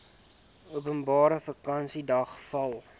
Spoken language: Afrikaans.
openbare vakansiedag val